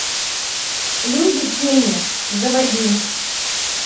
люди тени заводи